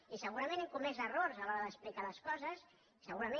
i segurament hem comès errors a l’hora d’explicar les coses segurament